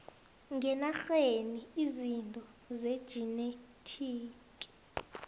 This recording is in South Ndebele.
ngenarheni izinto zejinethiki